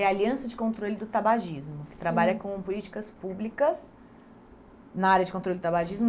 É a Aliança de Controle do Tabagismo, que trabalha com políticas públicas na área de controle do tabagismo.